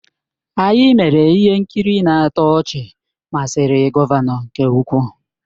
Anyị mere ihe nkiri na-atọ ọchị masịrị gọvanọ nke ukwuu.